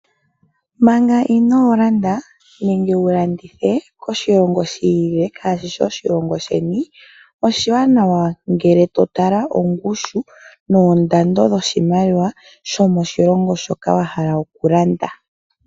Manga inoolanda nenge wu landithe koshilongo shiilile shaashi oshilongo sheni, oshiwanawa ngele to tala ongushu, noondando dhoshimaliwa shomoshilongo shoka wa hala okulanda.